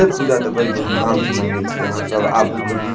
ए पूजा ते बड़ी धूम-धाम से मनबे छिये आहां सब आबू कभी --